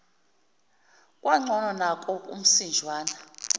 kwangcono nanko umsinjwana